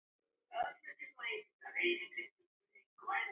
Farið frá!